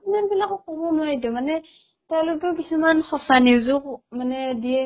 channel বিলাকক ক'বও নোৱাৰিতো মানে ক'লেতো কিছুমান সঁচা news ও ক মানে দিয়ে